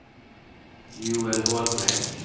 Joel Holmgren